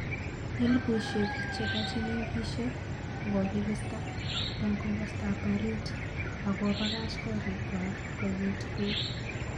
Elpushek chepo chemengishen kokokista en komostap parit ,ak kopakach korik kwany koyin pek